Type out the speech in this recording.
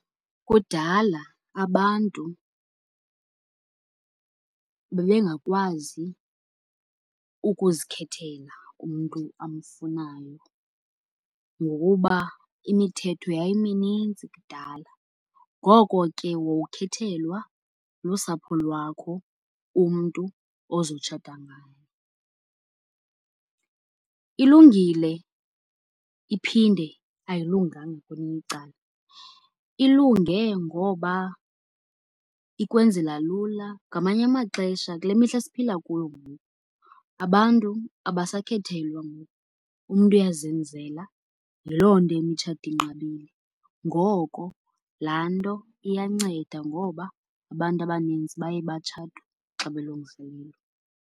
Kudala abantu bebengakwazi ukuzikhethela umntu amfunayo ngokuba imithetho yayiminintsi kudala, ngoko ke wawukhethelwa lusapho lwakho umntu ozotshata naye. Ilungile iphinde ayilunganga kwelinye icala. Ilunge ngoba ikwenzela lula. Ngamanye amaxesha kule mihla siphila kuyo ngoku abantu abasakhethelwa ngoku, umntu uyazenzela, yiloo nto imitshato inqabile. Ngoko laa nto iyanceda ngoba abantu abanintsi baye batshatwe xa belungiselelwe.